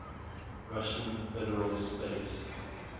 russian federal space